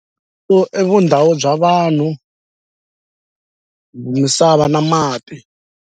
So i vundhawu bya vanhu misava na mati.